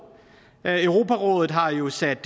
europarådet har jo sat